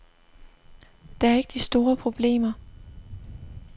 Der er ikke de store problemer.